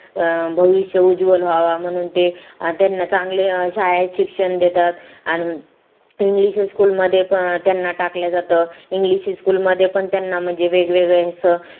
अं भविष्य उज्वल व्हावा म्हणून ते त्यांना चांगले शाळेत शिक्षण देतात अन english school मध्ये त्यांना टाकलं जातं इंग्लिश school मध्ये पण त्यांना वेगवेगळे असा